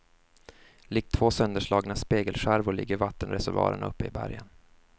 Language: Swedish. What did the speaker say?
Likt två sönderslagna spegelskärvor ligger vattenreservoarerna uppe i bergen.